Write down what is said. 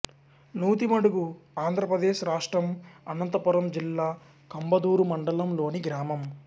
నూతిమడుగు ఆంధ్ర ప్రదేశ్ రాష్ట్రం అనంతపురం జిల్లా కంబదూరు మండలంలోని గ్రామం